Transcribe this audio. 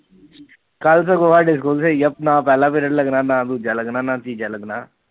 ਕੱਲ ਤਾ ਮਤਲਬ ਸਾਡਾ ਨਾ ਪਹਿਲਾ ਪੀਰੀਏਡ ਲੱਗਣਾ ਨਾ ਦੂਜਾ ਲੱਗਣਾ ਨਾ ਤੀਜਾ ਲੱਗਣਾ